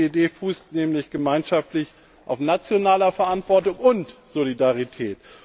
Diese Idee fußt nämlich gemeinschaftlich auf nationaler Verantwortung und Solidarität.